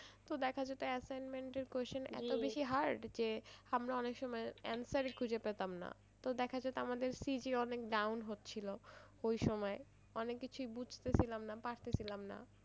তো দেখা যেত assignment এর question এতো বেশি hard যে আমরা অনেক সময়ে answer ই খুঁজে পেতাম না তো দেখা যেত আমাদের অনেক down হচ্ছিলো ওই সময়ে অনেক কিছুই বুঝতে ছিলাম না পারতে ছিলাম না।